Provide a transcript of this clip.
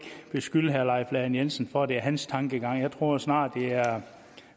beskylde herre leif lahn jensen for at det er hans tankegang jeg tror snarere det er